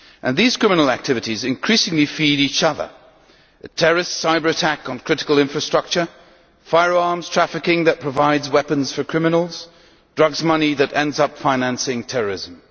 These criminal activities increasingly feed each other a terrorist cyber attack on critical infrastructure, firearms trafficking that provides weapons for criminals, and drugs money that ends up financing terrorism.